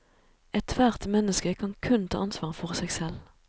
Ethvert menneske kan kun ta ansvar for seg selv.